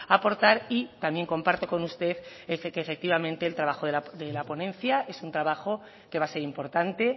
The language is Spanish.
aportar y también comparto con usted que efectivamente el trabajo de la ponencia es un trabajo que va a ser importante